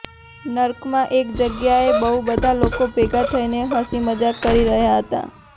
નર્કમાં એક જગ્યાએ બહુ બધા લોકો ભેગા થઇને હસી મજાક કરી રહ્યા હતા